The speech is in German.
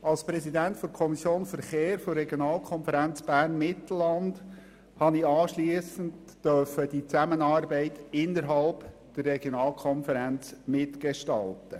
Als Präsident der Kommission Verkehr der Regionalkonferenz Bern-Mittelland durfte ich anschliessend die Zusammenarbeit innerhalb der Regionalkonferenz mitgestalten.